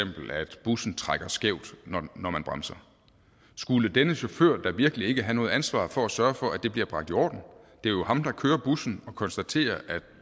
bussen trækker skævt når man bremser skulle denne chauffør da virkelig ikke have noget ansvar for at sørge for at det bliver bragt i orden det er jo ham der kører bussen og konstaterer at